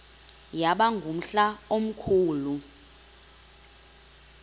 yaba ngumhla omkhulu